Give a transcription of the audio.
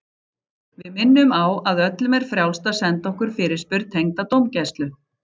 Við minnum á að öllum er frjálst að senda okkur fyrirspurn tengda dómgæslu.